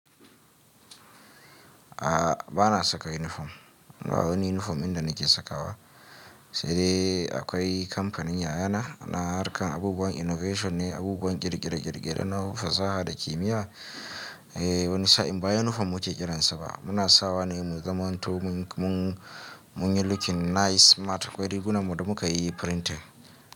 A'a ba na saka uniform ba. Wani uniform inda nake sakawa sai dai akwai kamfanin yayana na harkar abubuwan innovation ne, abubuwan ƙirƙire-ƙirƙire na fasaha da kimiyya. Eh wani sa'in ba uniform muke kiransa ba muna sawa ne mu zamantomin mun, mun, munyi looking nice, smart akwai riguna mu da muka yi printing.